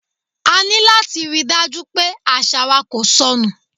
A ní láti ríi dájú pé àṣà wa kò sọ nù.